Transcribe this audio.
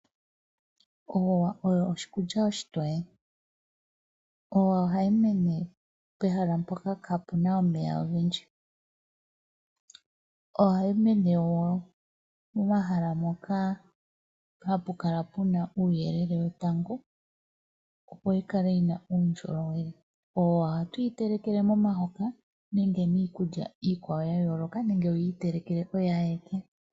Oowa oyo oshikulya oshitoye. Oowa ohayi mene pehala mpoka kaapuna omeya ogendji, ohayi mene wo momahala moka hapukala puna uuyelele wetango opo yikale yina uundjolowele. Oowa ohatu yi telekele momahoka nenge miikulya iikwawo yayooloka nenge wuyiitelekele oyo ayike.